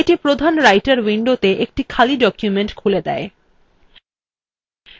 এটি প্রধান writer window একটি খালি document খুলে দেয়